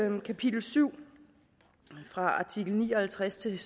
den kapitel syv fra artikel ni og halvtreds til